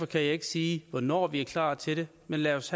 kan jeg ikke sige hvornår vi er klar til det men lad os